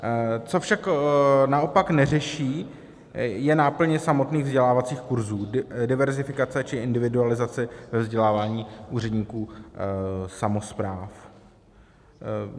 Co však naopak neřeší, je náplň samotných vzdělávacích kurzů, diverzifikace či individualizace ve vzdělávání úředníků samospráv.